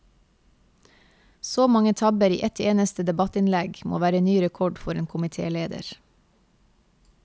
Så mange tabber i ett eneste debattinnlegg må være ny rekord for en komitéleder.